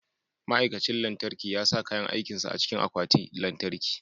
Ma'aikacin lantarki ya sa kayan aikin sa a cikin akwatin lantarki.